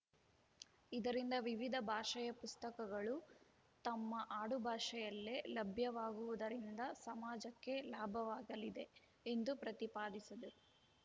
ಇದರಿಂದ ವಿವಿಧ ಭಾಷೆಯ ಪುಸ್ತಕಗಳು ತಮ್ಮ ಆಡುಭಾಷೆಯಲ್ಲೇ ಲಭ್ಯವಾಗುವುದರಿಂದ ಸಮಾಜಕ್ಕೆ ಲಾಭವಾಗಲಿದೆ ಎಂದು ಪ್ರತಿಪಾದಿಸಿದರು